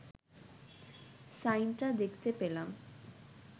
সাইনটা দেখতে পেলাম